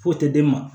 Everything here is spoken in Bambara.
Foyi tɛ d'e ma